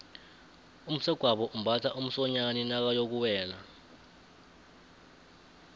umsegwabo umbatha umsonyani nakayokuwela